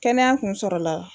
Kɛnɛya kun sɔrɔ la